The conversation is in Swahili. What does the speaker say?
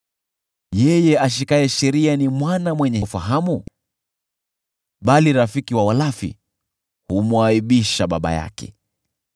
Yeye ashikaye sheria ni mwana mwenye ufahamu, bali rafiki wa walafi humwaibisha baba yake.